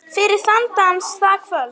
Fyrir þann dans, það kvöld.